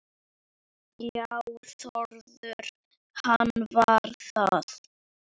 Já Þórður, hvað var það?